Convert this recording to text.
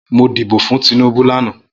Mó dibó fún Tinubu làná